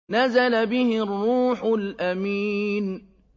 نَزَلَ بِهِ الرُّوحُ الْأَمِينُ